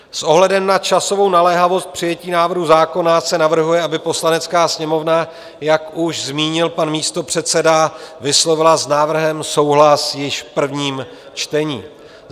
S ohledem na časovou naléhavost přijetí návrhu zákona se navrhuje, aby Poslanecká sněmovna, jak už zmínil pan místopředseda, vyslovila s návrhem souhlas již v prvním čtení.